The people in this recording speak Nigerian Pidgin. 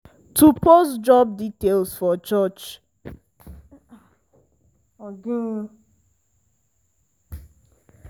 to post job details for church noticeboard help us get um serious farmhands last year.